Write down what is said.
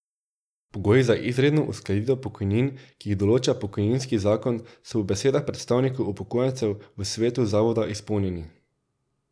Pogoji za izredno uskladitev pokojnin, ki jih določa pokojninski zakon, so po besedah predstavnikov upokojencev v svetu zavoda izpolnjeni.